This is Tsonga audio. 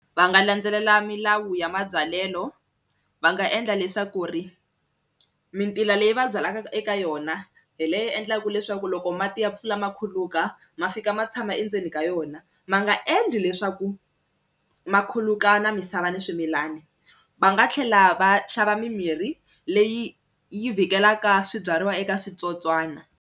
Va nga landzelela milawu ya mabyalelo va nga endla leswaku ri mintila leyi va byalaka eka yona hi leyi endlaka leswaku loko mati ya pfula ma khuluka ma fika ma tshama endzeni ka yona ma nga endli leswaku ma khuluka na misava ni swimilana, va nga tlhela va xava mimirhi leyi yi vhikeleka swibyariwa eka switsotswana.